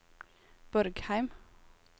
Borgheim